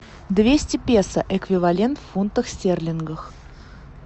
двести песо эквивалент в фунтах стерлингов